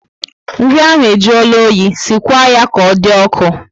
Nri ahụ e juola oyi, sikwa ya ka ọ dị ọkụ